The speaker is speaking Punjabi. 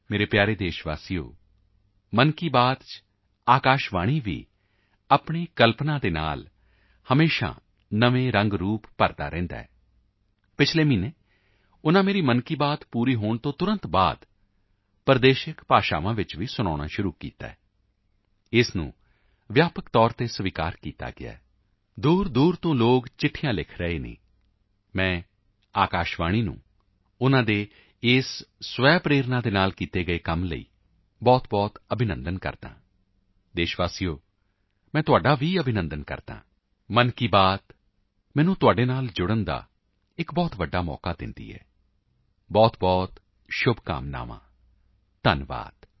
ਮੇਰੇ ਪਿਆਰੇ ਦੇਸ਼ ਵਾਸੀਓ ਮਨ ਕੀ ਬਾਤ ਵਿੱਚ ਆਕਾਸ਼ਵਾਣੀ ਵੀ ਆਪਣੀ ਕਲਪਨਾਸ਼ੀਲਤਾ ਨਾਲ ਹਮੇਸ਼ਾ ਨਵੇਂ ਰੰਗ ਰੂਪ ਭਰਦਾ ਰਹਿੰਦਾ ਹੈ ਪਿਛਲੇ ਮਹੀਨੇ ਤੋਂ ਉਨ੍ਹਾਂ ਮੇਰੀ ਮਨ ਕੀ ਬਾਤ ਮੁਕੰਮਲ ਹੋਣ ਤੋਂ ਤੁਰੰਤ ਬਾਅਦ ਪ੍ਰਦੇਸ਼ਿਕ ਭਾਸ਼ਾਵਾਂ ਵਿੱਚ ਮਨ ਕੀ ਬਾਤ ਸੁਣਾਉਣੀ ਸ਼ੁਰੂ ਕੀਤੀ ਹੈ ਇਸ ਨੂੰ ਵਿਆਪਕ ਸਵੀਕਾਰਤਾ ਮਿਲੀ ਹੈ ਦੂਰਦੂਰ ਤੋਂ ਲੋਕ ਚਿੱਠੀਆਂ ਲਿਖ ਰਹੇ ਹਨ ਮੈਂ ਆਕਾਸ਼ਵਾਣੀ ਦਾ ਉਨ੍ਹਾਂ ਦੇ ਇਸ ਸਵੈ ਪ੍ਰੇਰਨਾ ਤੋਂ ਕੀਤੇ ਗਏ ਕੰਮ ਲਈ ਬਹੁਤਬਹੁਤ ਅਭਿਨੰਦਨ ਕਰਦਾ ਹਾਂ ਦੇਸ਼ ਵਾਸੀਓ ਮੈਂ ਤੁਹਾਡਾ ਵੀ ਬਹੁਤ ਅਭਿਨੰਦਨ ਕਰਦਾ ਹਾਂ ਮਨ ਕੀ ਬਾਤ ਮੈਨੂੰ ਤੁਹਾਡੇ ਨਾਲ ਜੋੜਨ ਦਾ ਇੱਕ ਬਹੁਤ ਵੱਡਾ ਅਵਸਰ ਦਿੰਦੀ ਹੈ ਬਹੁਤਬਹੁਤ ਸ਼ੁਭਕਾਮਨਾਵਾਂ ਧੰਨਵਾਦ